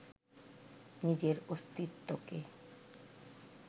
নিজের অস্তিত্বকে